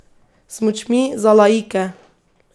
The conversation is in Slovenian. Smučmi, za laike!